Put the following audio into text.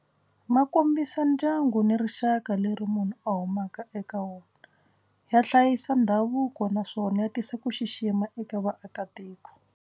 Ma kombisa ndyangu ni rixaka leri munhu a humaka eka wona. Ya hlayisa ndhavuko naswona ya tisa ku xixima eka vaakatiko.